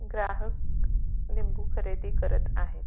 ग्राहक लिंबू खरेदी करत आहे.